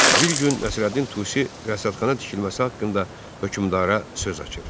Bir gün Nəsrəddin Tusi rəsədxana tikilməsi haqqında hökmdara söz açır.